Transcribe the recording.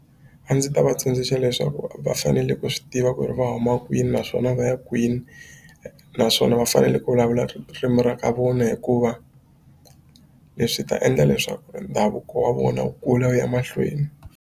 A ndzi ta va tsundzuxa leswaku va fanele ku swi tiva ku ri va huma kwini naswona va ya kwini naswona va fanele ku vulavula ririmi ra ka vona hikuva leswi ta endla leswaku ndhavuko wa vona wu kula wu ya mahlweni.